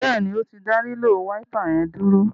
Béèni o tí dá lilo Wáípà yén dúró.